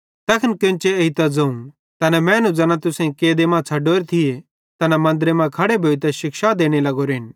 तैखन केन्चे एइतां ज़ोवं तैना मैनू ज़ैना तुसेईं कैदे मां छ़डोरे थिये तैना मन्दरे मां खड़े भोइतां शिक्षा देने लगोरेन